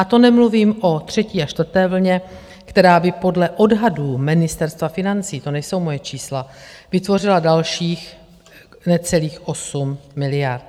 A to nemluvím o třetí a čtvrté vlně, která by podle odhadů Ministerstva financí, to nejsou moje čísla, vytvořila dalších necelých 8 miliard.